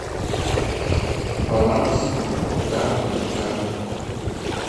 баланс заработной карты